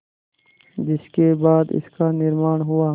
जिसके बाद इसका निर्माण हुआ